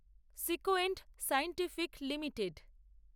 sequent Scientific limited